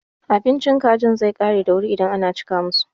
Abincin kajin zai ƙare da wuri idan ana cika musu.